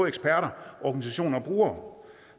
eksperter organisationer og brugere